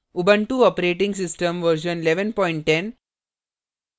Ubuntu operating system version 1110